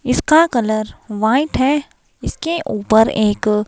इसका colour wine है इसके ऊपर एक--